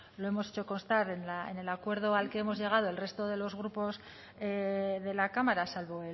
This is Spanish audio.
lo hemos hecho constar en el acuerdo al que hemos llegado el resto de los grupos de la cámara salvo